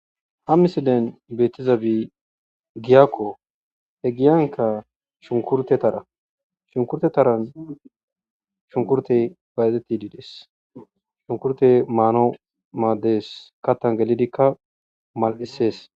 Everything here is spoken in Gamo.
ha misilen beetizabi giakko he giyanka shunkurte tara shunkurte taran shunkurtey bayzetti diides shunkurtey maano maadees kattan gelidikka mal7isees